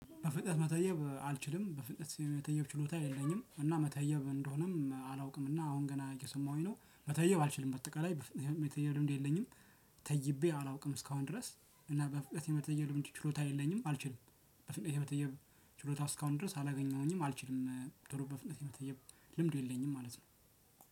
በፍጥነት መተየብ አልችልም በፍጥነት የመተየብ ችሎታ የለኝም እና መተየብ ምን እንደሆነም አላውቅም እና አሁን ገና እየሰማሁኝ ነው መተየብ አልችልም በአጠቃላይ በፍጥነት መተየብ ያው ልምዱ የለኝም። ተይቤ አላውቅም እስካሁን ድረስ እና በፍጥነት የመተየብ ችሎታ የለኝም አልችልም። በፍጥነት የመተየብ ችሎታ እስካሁን ድረስ አላገኘሁኝም አልችልም ቶሎ በፍጥነት የመተየብ ልምዱ የለኝም ማለት ነው።